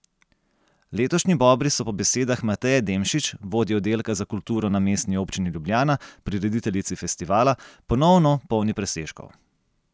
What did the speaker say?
Letošnji Bobri so po besedah Mateje Demšič, vodje oddelka za kulturo na Mestni občini Ljubljana, prirediteljici festivala, ponovno polni presežkov.